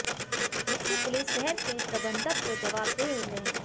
मुख्य पुलिस शहर के प्रबंधक को जवाबदेह होते हैं